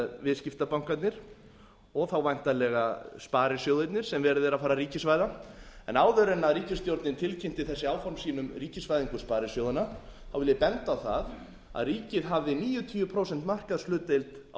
viðskiptabankarnir og þá væntanlega sparisjóðirnir sem verið er að fara að ríkisvæða en áður en ríkisstjórnin tilkynnti þessi áform sínum um ríkisvæðingu sparisjóðanna vil ég benda á það að ríkið hafði níutíu prósenta markaðshlutdeild á